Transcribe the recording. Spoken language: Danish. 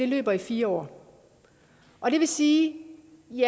løber i fire år og det vil sige